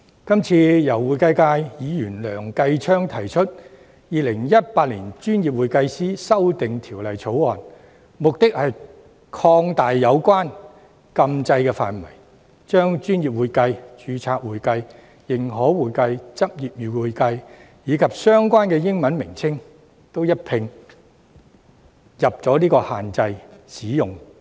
這次由會計界梁繼昌議員提出的《條例草案》，目的是擴大有關禁制的範圍，將"專業會計"、"註冊會計"、"認可會計"、"執業會計"，以及相關的英文稱謂一併納入限制範圍。